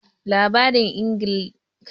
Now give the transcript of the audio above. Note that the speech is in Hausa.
Labarin Inigɓi labari ne daga ƙasar Igala